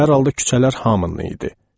Hər halda küçələr hamının idi.